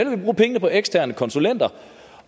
vil bruge pengene på eksterne konsulenter